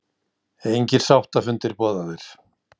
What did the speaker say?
Engir sáttafundir boðaðir